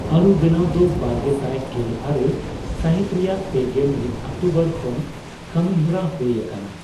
ᱟᱹᱨᱩ ᱵᱮᱱᱟᱣ ᱫᱚ ᱵᱟᱨᱜᱮᱥᱟᱭ ᱜᱮᱞ ᱟᱨᱮ ᱥᱟᱹᱦᱤᱛ ᱨᱮᱭᱟᱜ ᱯᱮᱜᱮᱞ ᱢᱤᱫ ᱚᱠᱴᱚᱵᱚᱨ ᱠᱷᱚᱱ ᱠᱟᱹᱢᱤᱦᱚᱨᱟ ᱦᱩᱭ ᱟᱠᱟᱱᱟ ᱾